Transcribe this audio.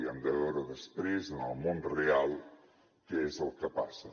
hem de veure després en el món real què és el que passa